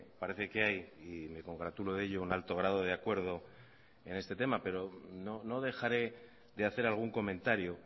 parece que hay y me congratulo de ello un alto grado de acuerdo en este tema pero no dejaré de hacer algún comentario